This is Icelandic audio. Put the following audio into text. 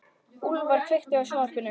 Úlfar, kveiktu á sjónvarpinu.